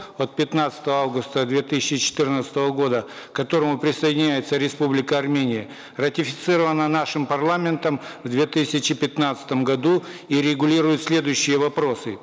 от пятнадцатого августа две тысячи четырнадцатого года к которому присоединяется республика армения ратифицирована нашим парламентом в две тысячи пятнадцатом году и регулирует следующие вопросы